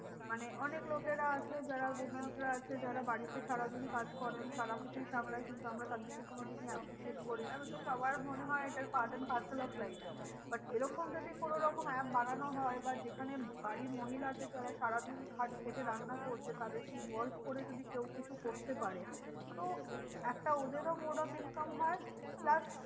But এরকম যদি কোনো রকম app বানানো হয় বা যেখানে বাড়ির মহিলাদের যারা সারাদিন খেটে রান্না করছে তাদেরকে involve করে যদি কেউ কিছু করতে পারে। তো একটা ওদেরও more of income হয় plus